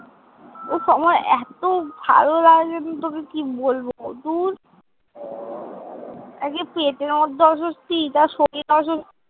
উফ আমার এতো ভালো লাগছে না, তোকে কি বলবো। ধুর। একে পেটের মধ্যে অস্বস্তি তারপরে শরীর অস্বস্তি